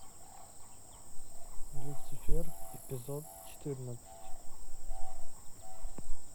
люцифер эпизод четырнадцать